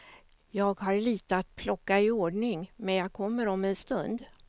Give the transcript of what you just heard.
Jag har lite att plocka iordning, men jag kommer om en stund.